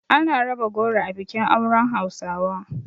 Ana raba goro a bikin auren hausawa.